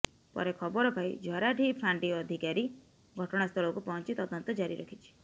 ପରେ ଖବର ପାଇ ଝରାଡିହି ଫାଣ୍ଡି ଅଧିକାରୀ ଘଟଣାସ୍ଥଳକୁ ପହଞ୍ଚି ତଦନ୍ତ ଜାରିରଖିଛି